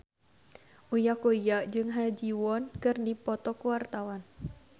Uya Kuya jeung Ha Ji Won keur dipoto ku wartawan